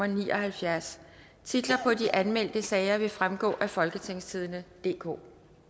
ni og halvfjerds titlerne på de anmeldte sager vil fremgå af folketingstidende DK